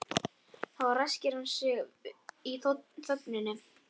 Þá ræskti hann sig og sagði inn í þögnina